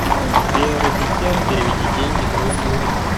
сбер ассистент переведи деньги другу